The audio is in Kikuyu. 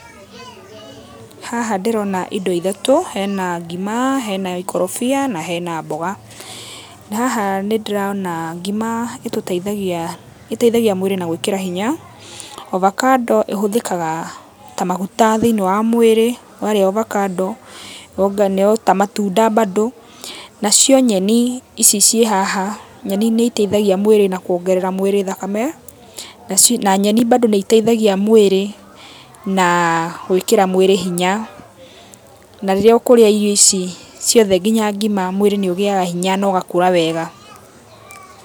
Haha ndĩrona indo ithatũ, hena ngima, hena ikorobia na hena mboga. Na haha nĩ ndĩrona ngima itũteithagia, iteithagia mwĩrĩ na gũĩkĩra hinya, avocado ihũthĩkaga ta magũta thĩiniĩ wa mwĩrĩ warĩa avocado no ta matunda bado. Nacio nyeni, ici cĩhaha, nyeni nĩ iteithagia mwĩrĩ na kuongerera mwĩrĩ thakame. Na nyeni bado nĩi teithagia mwĩrĩ na gwĩkĩra mwĩrĩ hinya. Na rĩrĩa ũkũrĩa irio ici ciothe nginya ngima, mwĩrĩ nĩ ũgĩyaga hinya na ũgakũra wega.